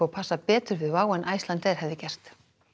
passa betur við WOW en Icelandair hefði gert